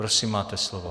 Prosím, máte slovo.